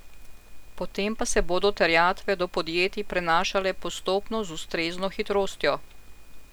Potem pa se bodo terjatve do podjetij prenašale postopno z ustrezno hitrostjo.